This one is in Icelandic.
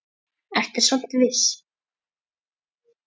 Ertu samt viss?